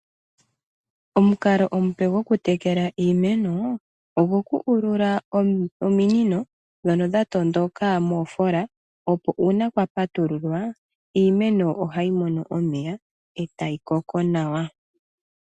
Omukalo omupe gwokutekela iimeno ogo ku ulula ominino ndhono dha tondoka moofola opo uuna kwa patululwa iimeno ohayi mono omeya etayi koko nawa.